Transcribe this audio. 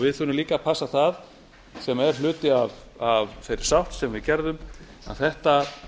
við þurfum líka að passa það sem er hluti af þeirri sátt sem við gerðum að þetta